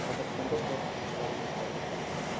қазақстанда тұратын туыстарымен қауышты